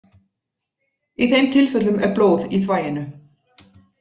Í þeim tilfellum er blóð í þvaginu.